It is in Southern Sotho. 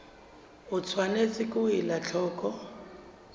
o tshwanetse ho ela hloko